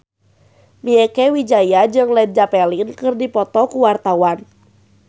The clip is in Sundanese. Mieke Wijaya jeung Led Zeppelin keur dipoto ku wartawan